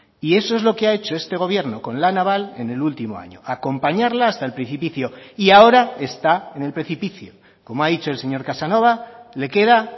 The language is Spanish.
y eso es lo que ha hecho este gobierno con la naval en el último año acompañarla hasta el precipicio y ahora está en el precipicio como ha dicho el señor casanova le queda